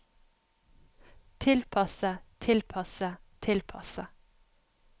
tilpasse tilpasse tilpasse